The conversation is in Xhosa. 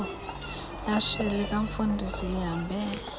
lihashe likamfundisi ihambe